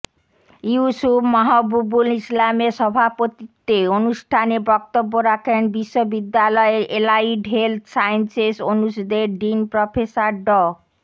ইউসুফ মাহবুবুল ইসলামের সভাপতিত্বে অনুষ্ঠানে বক্তব্য রাখেন বিশ্ববিদ্যালয়ের এলাইড হেলথ সায়েন্সস অনুষদের ডীন প্রফেসর ড